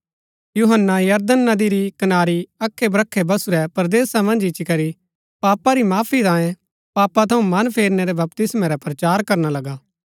यूहन्‍ना यरदन नदी री कनारी अखै ब्रखै बसुरै परदेसा मन्ज इच्ची करी पापा री माफी तांयें पापा थऊँ मन फेरनै रै बपतिस्मा रा प्रचार करना लगा